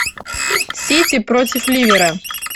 сити против ливера